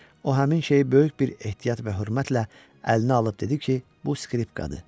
O həmin şeyi böyük bir ehtiyat və hörmətlə əlinə alıb dedi ki, bu skripkadır.